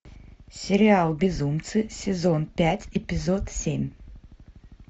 сериал безумцы сезон пять эпизод семь